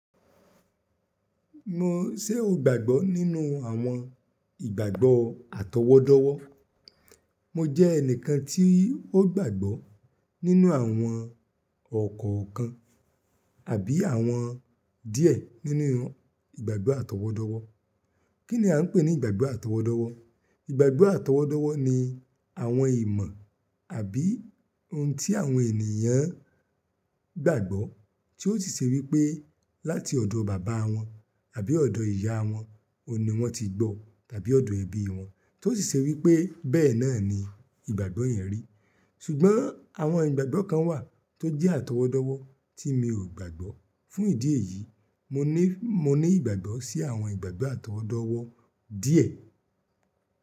Mo ṣé o gbàgbọ́ nínú àwọn ìgbàgbọ́ àtọwọ́dọ́wọ́. Mo jẹ́ ẹnìkan tí ó gbàgbọ́ nínú àwọn ọ̀kọ̀ọ̀kan àbí àwọn díẹ̀ nínú ìgbàgbọ́ àtọwọ́dọ́wọ́. Kí ni a ń pè ní ìgbàgbọ́ àtọwọ́dọ́wọ́? Ìgbàgbọ́ àtọwọ́dọ́wọ́ ni àwọn ìmọ̀ àbí ohun tí àwọn ènìyàn gbàgbọ́ tí ó sì ṣe wípé láti ọ̀dọ̀ bàbá wọn àbí ọ̀dọ̀ ìyá wọn ni wọ́n ti gbọ́, tàbí ọ̀dọ̀ ẹbí wọn, tó sì ṣe wípé bẹ́ẹ̀ náà ni ìgbàgbọ́ yẹn rí. Ṣùgbọ́n àwọn ìgbàgbọ́ kan wà tó jẹ́ àtọwọ́dọ́wọ́ tí mi ò gbàgbọ́. Fún ìdí èyí, mo ní, mo ní ìgbàgbọ́ sí àwọn ìgbàgbọ́ àtọwọ́dọ́wọ́ díẹ̀.